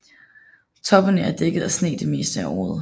Toppene er dækket af sne det meste af året